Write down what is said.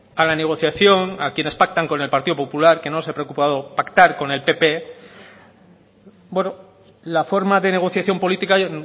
a la negociación a quienes pactan con el partido popular que no se ha preocupado pactar con el pp bueno la forma de negociación política